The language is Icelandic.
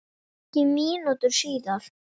Ekki mínútu síðar